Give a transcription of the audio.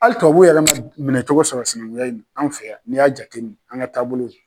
Hali tubabuw yɛrɛ minɛcogo sɔrɔ sinankunya in na an fɛ yan n'i y'a jate minɛ an ka taabolo la.